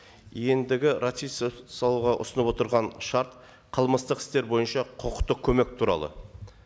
ендігі ұсынылып отырған шарт қылмыстық істер бойынша құқықтық көмек туралы